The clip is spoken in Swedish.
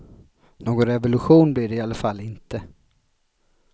Någon revolution blev det i alla fall inte.